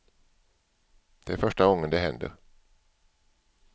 Det är första gången det händer.